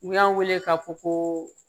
U y'an weele k'a fɔ ko